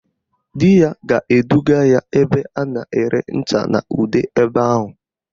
Di ya ga-eduga ya ebe a na-ere ncha na ude ebe ahụ